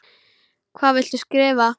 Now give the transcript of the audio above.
Hvað viltu skrifa?